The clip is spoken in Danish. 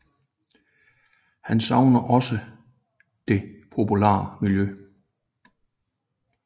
Han savnede også det polare miljø